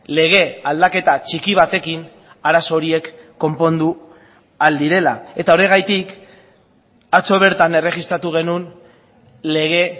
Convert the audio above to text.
lege aldaketa txiki batekin arazo horiek konpondu ahal direla eta horregatik atzo bertan erregistratu genuen lege